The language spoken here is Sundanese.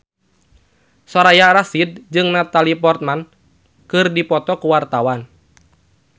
Soraya Rasyid jeung Natalie Portman keur dipoto ku wartawan